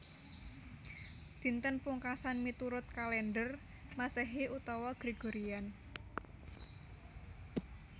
Dinten Pungkasan miturut kalèndher Masehi utawi Gregorian